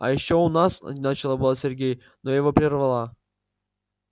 а ещё у нас начал было сергей но я его прервала